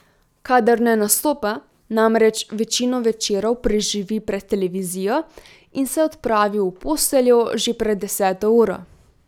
Kadar ne nastopa, namreč večino večerov preživi pred televizijo in se odpravi v posteljo že pred deseto uro.